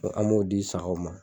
an m'o di sagaw ma